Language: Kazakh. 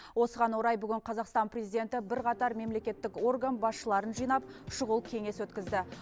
осыған орай бүгін қазақстан президенті бірқатар мемлекеттік орган басшыларын жинап шұғыл кеңес өткізді